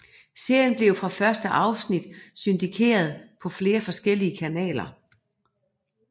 Serien blev fra første afsnit syndikeret på flere forskellige kanaler